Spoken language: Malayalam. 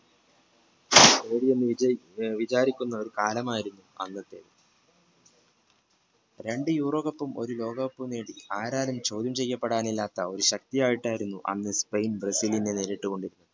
വിചാരിക്കുന്ന ഒരു കാലം ആയിരുന്നു അന്നത്തെ രണ്ട് യൂറോ cup ഒരു ലോക cup നേടി ആരാരും ചോദ്യം ചെയ്യാൻ ഒരു ശക്തി ആയിട്ടാണ് അന്ന് സ്പെയിൻ ബ്രസീലിന് നേരിട്ടുകൊണ്ടിരുന്നത്